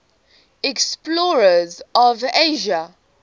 explorers of asia